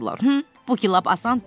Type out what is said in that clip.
Bu ki lap asandır.